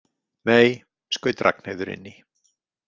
Nei, skaut Ragnheiður inn í.